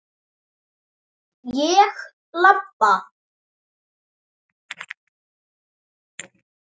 Ég labba.